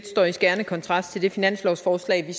står i skærende kontrast til det finanslovsforslag vi